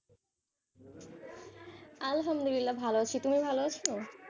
আলহামদুল্লাহ ভালো আছি তুমি ভালো আছ?